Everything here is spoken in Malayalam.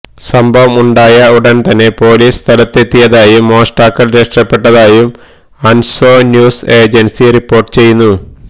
സംഭവം ഉണ്ടായ ഉടൻതന്നെ പോലീസ് സ്ഥലത്തെത്തിയതായും മോഷ്ടാക്കൾ രക്ഷപ്പെട്ടതായും അൻസാ ന്യൂസ് ഏജൻസി റിപ്പോർട്ട് ചെയുന്നു